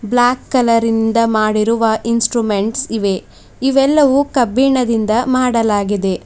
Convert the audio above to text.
Block colour ಇಂದ ಮಾಡಿರುವ instrument ಇವೆ ಇವೆಲ್ಲವೂ ಕಬ್ಬಿಣದಿಂದ ಮಾಡಲಾಗಿದೆ.